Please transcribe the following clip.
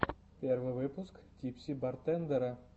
первый выпуск типси бартендера